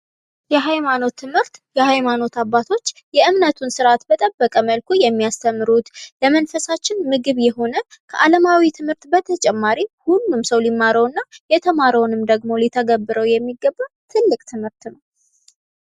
የሀይማኖት ትምህርት የሀይማኖት አባቶች የእምነቱን ስርአቱን በጠበቀ መልኩ የሚያስተምሩት ለመንፈሳችን ምግብ የሆነ ከአለማዊ ትምህርት በተጨማሪ ሁሉም ሰው ሊማረው እና የተማረውን ደግሞ ሊተገብረው የሚገባ ትልቅ ትምህርት ነው ።